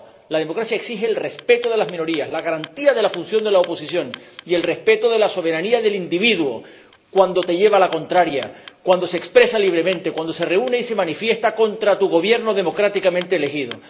No, la democracia exige el respeto de las minorías, la garantía de la función de la oposición y el respeto de la soberanía del individuo cuando te lleva la contraria, cuando se expresa libremente, cuando se reúne y se manifiesta contra tu Gobierno democráticamente elegido.